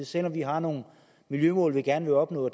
selv om vi har nogle miljømål vi gerne vil opnå